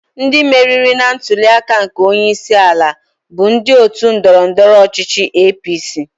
Ndị meriri na ntuli aka nke onye isi ala bụ ndị otu ndọrọ ndọrọ ọchichị APC.